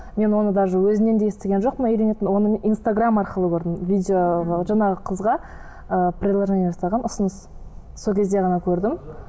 мен оны даже өзінен де естіген жоқпын үйленетінін оның инстаграм арқылы көрдім видео жаңағы қызға ы предложение жасаған ұсыныс сол кезде ғана көрдім